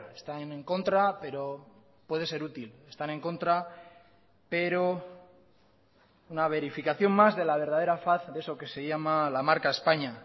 están en contra pero puede ser útil están en contra pero una verificación más de la verdadera faz de eso que se llama la marca españa